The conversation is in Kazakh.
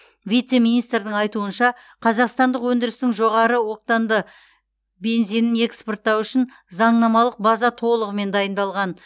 вице министрдің айтуынша қазақстандық өндірістің жоғары октанды бензинін экспорттау үшін заңнамалық база толығымен дайындалған